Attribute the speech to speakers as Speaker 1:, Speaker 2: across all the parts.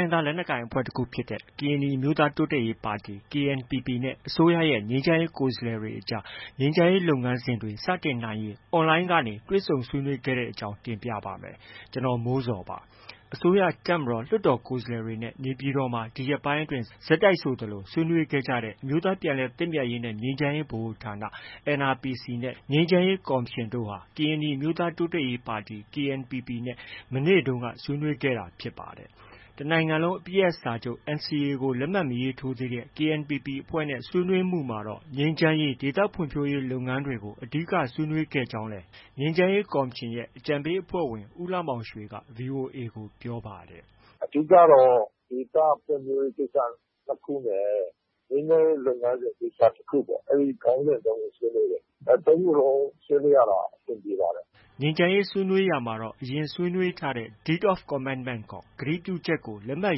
Speaker 1: င်းသား လက်နက်ကိုင်အဖွဲ့တခုဖြစ်တဲ့ ကရင်နီအမျိုးသားတိုးတက်ရေးပါတီ KNPP နဲ့ အစိုးရရဲ့ ငြိမ်းချမ်းရေး ကိုယ်စားလှယ်တွေကြား ငြိမ်းချမ်းရေး လုပ်ငန်းစဉ်တွေ စတင်နိုင်ရေး online ကနေ တွေ့ဆုံဆွေးနွေးခဲ့တဲ့အကြောင်းကို ဗွီအိုအေမြန်မာပိုင်း သတင်းထောက် ကိုမိုးဇော်က တင်ပြပေးပါမယ်။ အစိုးရ၊ တပ်မတော်၊ လွှတ်တော်ကိုယ်စားလှယ်တွေနဲ့ နေပြည်တော်မှာ ဒီရက်ပိုင်းအတွင်း ဆက်တိုက်ဆိုသလို ဆွေးနွေးခဲ့ကြတဲ့ အမျိုးသားပြန်လည်သင့်မြတ်ရေးနဲ့ ငြိမ်းချမ်းရေးဗဟိုဌာန NRPC ၊ ငြိမ်းချမ်းရေးကော်မရှင်တို့ဟာ ကရင်နီအမျိုးသားတိုးတက်ရေးပါတီ KNPP နဲ့ မနေ့တုန်းက ဆွေးနွေးခဲ့တာ ဖြစ်ပါတယ်။ တစ်နိုင်ငံလုံးအပစ်ရပ်စာချုပ် NCA ကို လက်မှတ် မရေးထိုးသေးတဲ့ KNPP အဖွဲ့နဲ့ ဆွေးနွေးမှုမှာတော့ ငြိမ်းချမ်းရေးနဲ့ ဒေသဖွံ့ဖြိုးရေး လုပ်ငန်းတွေကို အဓိက ဆွေးနွေးခဲ့ကြောင်းလည်း ငြိမ်းချမ်းရေးကော်မရှင်ရဲ့ အကြံပေးအဖွဲ့ဝင် ဦးလှမောင်ရွှေက VOA ကို ပြောပါတယ်။
Speaker 2: “အဓိကတော့ ဒေသဖွံ့ဖြိုးရေးကိစ္စ ၂ ခုနဲ့ ငြိမ်းချမ်းရေးလုပ်ငန်းစဉ် ကိစ္စတစ်ခုပေါ့။ အဲဒီ ခေါင်းစဉ် ၃ ခု ဆွေးနွေးပါတယ်။ ၃ ခုလုံးဆွေးနွေးရတာ အဆင်ပြေပါတယ်။”
Speaker 1: ငြိမ်းချမ်းရေးဆွေးနွေးရာမှာတော့ အရင် ဆွေးနွေးထားတဲ့ Deed of Commitment ခေါ် ကတိပြုချက်ကို လက်မှတ်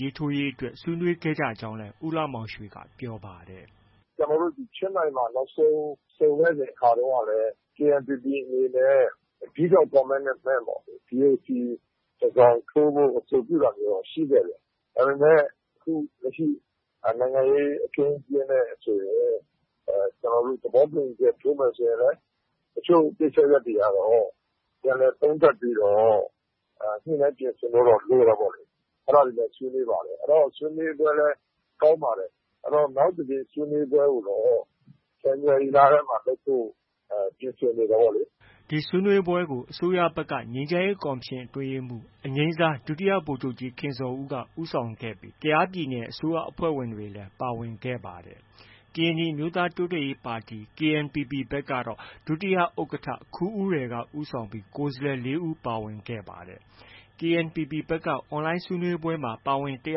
Speaker 1: ရေးထိုးရေးအတွက် ဆွေးနွေးခဲ့ကြကြောင်းလည်း ဦးလှမောင်ရွှေက ပြောပါတယ်။
Speaker 2: “ကျနော်တို့ ချင်းမိုင်မှာ နောက်ဆုံး ဆုံခဲ့စဉ်အခါတုန်းကလည်း KNPP အနေနဲ့ Deed of Commitment တစ်စောင်ထိုးဖို့ အဆိုပြုတာမျိုးတော့ ရှိခဲ့တယ်။ ဒါပေမဲ့ လက်ရှိ နိုင်ငံရေးအခင်းအကျင်းနဲ့ဆိုရင် ကျနော်တို့ သဘောတူညီချက် ထိုးမယ်ဆိုရင်လည်း အချို့ကိစ္စရပ်တွေကတော့ ပြန်လည်သုံးသပ်ပြီးတော့ ညှိနှိုင်းပြင်ဆင်ဖို့တော့ လိုတယ်ပေါ့လေ။ အဲဒါတွေလည်း ဆွေးနွေးပါတယ်။ ဆွေးနွေးပွဲလည်း ကောင်းပါတယ်။ နောက်တစ်ကြိမ်ဆွေးနွေးပွဲကိုတော့ ဇန်နဝါရီလထဲမှာ လုပ်ဖို့ ပြင်ဆင်နေတယ်ပေါ့လေ။
Speaker 1: ” ဒီဆွေးနွေးပွဲကို အစိုးရဘက်က ငြိမ်းချမ်းရေးကော်မရှင်အတွင်းရေးမှူး အငြိမ်းစား ဒုတိယဗိုလ်ချုပ်ကြီး ခင်ဇော်ဦးက ဦးဆောင်ခဲ့ပြီး ကယားပြည်နယ်အစိုးရအဖွဲ့ဝင်တွေလည်း ပါဝင်ခဲ့ပါတယ်။ ကရင်နီအမျိုးသားတိုးတက်ရေးပါတီ KNPP ကတော့ ဒုတိယဥက္ကဋ္ဌ ခူးဦးရယ်က ဦးဆောင်ပြီး ကိုယ်စားလှယ် ၄ ဦး ပါဝင်ပါတယ်။ KNPP ဘက်က online ဆွေးနွေးပွဲမှာ ပါဝင်တက်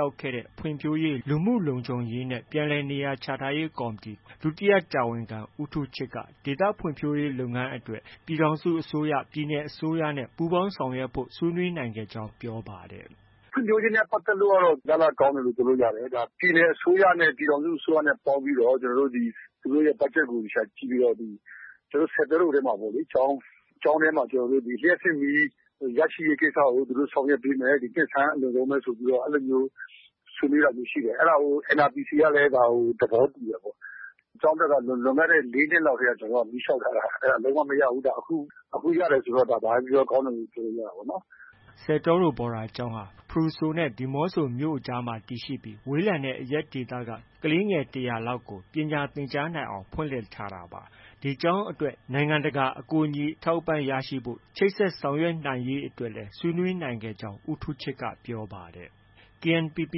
Speaker 1: ရောက်ခဲ့တဲ့ ဖွံ့ဖြိုးရေး၊ လူမှုလုံခြုံရေးနဲ့ ပြန်လည်နေရာချထားရေး ကော်မတီ ဒုတိယတာဝန်ခံ ဦးထူးချစ်က ဒေသဖံံ့ွဖြိုးရေးလုပ်ငန်းအတွက် ပြည်ထောင်စု၊ ပြည်နယ်အစိုးရနဲ့ ပူးပေါင်းဆောင်ရွက်ဖို့ ဆွေးနွေးနိုင်ခဲ့ကြောင်း ပြောပါတယ်။
Speaker 2: “ဖွံ့ဖြိုးရေးနဲ့ ပတ်သက်လို့ကတော့ ရလဒ်ကောင်းတယ်လို့ ပြောလို့ရတယ်။ ပြည်နယ်အစိုးရနဲ့ ပြည်ထောင်စုအစိုးရနဲ့ ပေါင်းပြီးတော့ သူတို့ရဲ့ ဘက်ဂျက်ကို သေချာကြည့်ပြီးတော့ ကျနော်တို့ ဆယ်တောရိုထဲမှာ ကျောင်းထဲမှာ လျှပ်စစ်မီး ရရှိရေးကိစ္စကို သူတို့ ဆောင်ရွက်ပေးမယ်။ နှစ်ဆန်းအလွန်ဆုံးပဲ ဆိုပြီးတော့ အဲဒီလိုမျိုး အဲဒါကို NRPC ကလည်း သဘောတူတယ်ပေါ့။ ကျောင်းအတွက်က လွန်ခဲ့တဲ့ ၄ နှစ်လောက်ကတည်းက မီးလျှောက်ထားတာ။ အဲဒါ လုံးဝမရဘူး။ အခု ရတယ်ဆိုတော့ ဘာပဲ ပြောပြောကောင်းတယ်လို့ ပြောရတာပေါ့။
Speaker 1: ” ဆယ်တောရိုဘော်ဒါကျောင်းဟာ ဖရူဆိုနဲ့ ဒီမောဆိုမြို့အကြားမှာ တည်ရှိပြီး ဝေးလံတဲ့အရပ်ဒေသက ကလေးငယ် ၁၀၀ လောက်ကို ပညာသင်ကြားနိုင်အောင် ဖွင့်လှစ်ထားတာပါ။ ဒီကျောင်းအတွက် နိုင်ငံတကာ အကူအညီအထောက်အပံ့ ရရှိဖို့အတွက်လည်း ချိတ်ဆက်ဆောင်ရွက်နိုင်ရေးအတွက်လည်း ဆွေးနွေးနိုင်ခဲ့ကြောင်း ဦးထူးချစ်က ပြောပါတယ်။ KNPP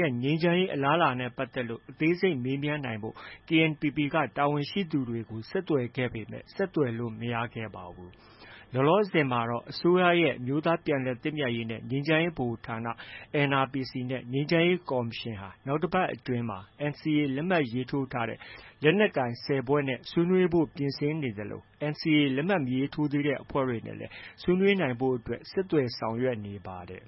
Speaker 1: ရဲ့ ငြိမ်းချမ်းရေးအလားအလာနဲ့ ပတ်သက်လို့ အသေးစိတ်မေးမြန်းနိုင်ဖို့ KNPP တာဝန်ရှိသူတွေကို ဆက်သွယ်ခဲ့ပေမဲ့ ဆက်သွယ်လို့ မရခဲ့ပါဘူး။ လောလောဆယ်မှာတော့ အစိုးရရဲ့ အမျိုးသားပြန်လည်သင့်မြတ်ရေးနဲ့ ငြိမ်းချမ်းရေးဗဟိုဌာန NRPC ၊ ငြိမ်းချမ်းရေးကော်မရှင်ဟာ နောက်တစ်ပတ်အတွင်းမှာ NCA လက်မှတ် ရေးထိုးထားတဲ့ လက်နက်ကိုင်အဖွဲ့ ၁၀ ဖွဲ့နဲ့ ဆွေးနွေးဖို့ ပြင်ဆင်နေသလို NCA လက်မှတ် မရေးထိုးသေးတဲ့အဖွဲ့တွေနဲ့ ဆွေးနွေးနိုင်ဖို့လည်း ဆက်သွယ်ဆောင်ရွက်နေပါတယ်